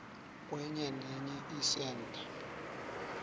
kwenye nenye isentha